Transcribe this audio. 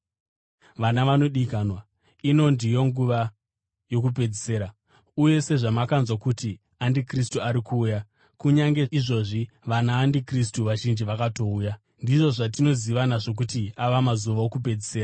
Vana vanodikanwa, ino ndiyo nguva yokupedzisira; uye sezvamakanzwa kuti andikristu ari kuuya, kunyange izvozvi vanaandikristu vazhinji vakatouya. Ndizvo zvatinoziva nazvo kuti ava mazuva okupedzisira.